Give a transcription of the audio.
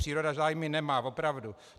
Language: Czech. Příroda zájmy nemá, opravdu.